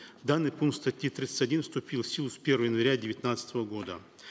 данный пункт статьи тридцать один вступил в силу с первого января девятнадцатого года